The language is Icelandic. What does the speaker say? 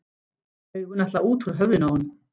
Augun ætla út úr höfðinu á honum.